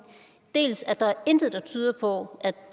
går